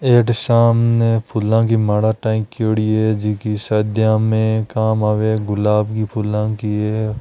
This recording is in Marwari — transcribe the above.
अठ सामने फूलन की माला टांकाकोड़ी है जीकी शादियां में काम आवे गुलाब की फूला की है।